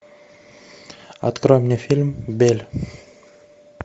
открой мне фильм белль